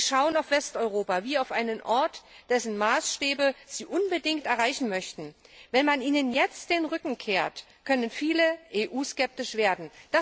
Sie schauen auf Westeuropa wie auf einen Ort, dessen Maßstäbe sie unbedingt erreichen möchten. Wenn man ihnen jetzt den Rücken kehrt, können viele EU skeptisch werden.